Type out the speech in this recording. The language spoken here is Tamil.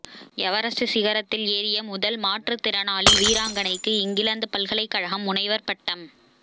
எவரெஸ்ட் சிகரத்தில் ஏறிய முதல் மாற்றுத் திறனாளி வீராங்கனைக்கு இங்கிலாந்து பல்கலைக்கழகம் முனைவர் பட்டம்